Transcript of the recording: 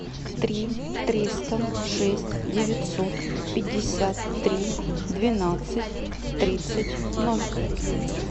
три триста шесть девятьсот пятьдесят три двенадцать тридцать ноль